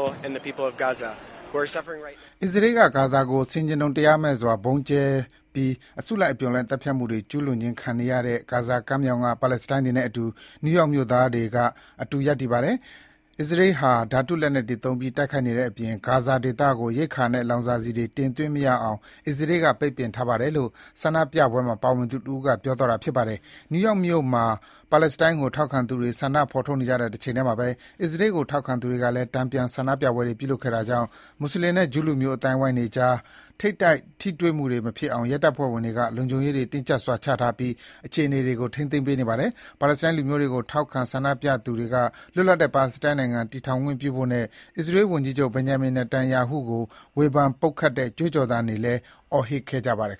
။ “အစ္စရေးက ဂါဇာကို ဆင်ခြင်တုံတရားမဲ့စွာ ဗုံးကျဲပြီး အစုလိုက်အပြုံလိုက် သတ်ဖြတ်မှု ကျူးလွန်ခြင်းခံနေရတဲ့ ဂါဇာကမ်းမြောင်က ပါလက်စတိုင်းတွေနဲ့အတူ နယူးယောက်မြို့သားတွေက အတူရပ်တည်နေပါတယ်။ အစ္စရေးဟာ ဓါတုလက်နက်တွေသုံးပြီး တိုက်ခိုက်နေတဲ့အပြင် ဂါဇာဒေသကို ရိက္ခာနဲ့ လောင်စာဆီတွေ တင်သွင်းမရအောင် အစ္စရေးက ပိတ်ပင်ထားပါတယ်” - လို့ ဆန္ဒပြပွဲမှာ ပါဝင်သူတဦးက ပြောသွားတာပါ။ New York မြို့မှာ ပါလက်စတိုင်းကို ထောက်ခံသူတွေ ဆန္ဒဖော်ထုတ်နေကြတဲ့ တချိန်ထဲမှာဘဲ အစ္စရေးကို ထောက်ခံသူတွေကလည်း တန်ပြန် ဆန္ဒပြပွဲတွေ ပြုလုပ်ခဲ့တာကြောင့် မွတ်ဆလင်နဲ့ ဂျူးလူမျိုး အသိုင်းအဝိုင်းတွေအကြား ထိပ်တိုက် ထိတွေ့မှုတွေမဖြစ်အောင် ရဲတပ်ဖွဲ့ဝင်တွေက လုံခြုံရေးတွေတင်းကြပ်စွာချထားပြီး အခြေအနေတွေကို ထိန်းသိမ်းပေးနေပါတယ်။ ပါလက်စတိုင်းလူမျိုးတွေကို ထောက်ခံဆန္ဒပြသူတွေက လွတ်လပ်တဲ့ ပါလက်စတိုင်းနိုင်ငံ တည်ထောင်ခွင့်ပြုဖို့နဲ့ အစ္စရေး ဝန်ကြီးချုပ် Benjamin Netanyahu ကို ဝေဖန် ပုတ်ခတ်တဲ့ ကြွေးကြော်သံတွေ အော်ဟစ်ခဲ့ကြပါတယ်